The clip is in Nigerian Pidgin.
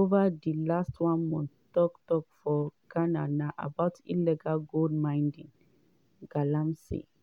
ova di last one month tok tok for ghana na about illegal gold mining (galamsey).